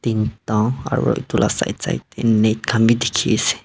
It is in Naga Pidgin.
aro etu la side side innet khan bhi dekhey ase.